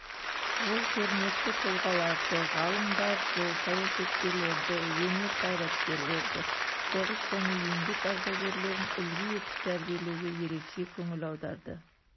ол көрнекті тұлғаларды ғалымдарды саясаткелерді өнер қайраткерлерді соғыс және еңбек ардагерлерін үлгі етіп тәрбиелеуге ерекше көңіл аударды